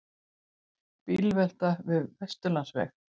Bílvelta við Vesturlandsveg